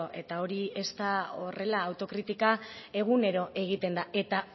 eta hori ez da horrela autokritika egunero egiten da eta